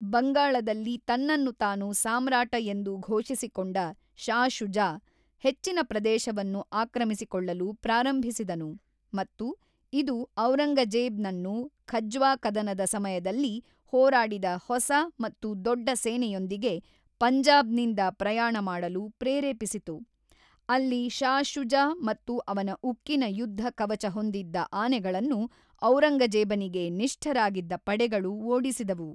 ಬಂಗಾಳದಲ್ಲಿ ತನ್ನನ್ನು ತಾನು ಸಾಮ್ರಾಟ ಎಂದು ಘೋಷಿಸಿಕೊಂಡ ಶಾ ಶುಜಾ, ಹೆಚ್ಚಿನ ಪ್ರದೇಶವನ್ನು ಆಕ್ರಮಿಸಿಕೊಳ್ಲಲು ಪ್ರಾರಂಭಿಸಿದನು ಮತ್ತು ಇದು ಔರಂಗಜೇಬ್ ನನ್ನು ಖಜ್ವಾ ಕದನದ ಸಮಯದಲ್ಲಿ ಹೋರಾಡಿದ ಹೊಸ ಮತ್ತು ದೊಡ್ಡ ಸೇನೆಯೊಂದಿಗೆ ಪಂಜಾಬ್ ನಿಂದ ಪ್ರಯಾಣ ಮಾಡಲು ಪ್ರೇರೇಪಿಸಿತು ; ಅಲ್ಲಿ ಶಾ ಶುಜಾ ಮತ್ತು ಅವನ ಉಕ್ಕಿನ ಯುದ್ಧ ಕವಚ ಹೊಂದಿದ್ದ ಆನೆಗಳನ್ನು, ಔರಂಗಜೇಬನಿಗೆ ನಿಷ್ಠರಾಗಿದ್ದ ಪಡೆಗಳು ಓಡಿಸಿದವು.